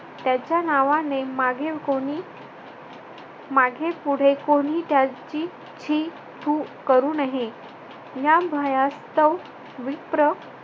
त्याच्या नावाने मागील कोणी मागे-पुढे कोणी त्याची शी थू करू नये शी थू करू नये या भयासत्व विप्र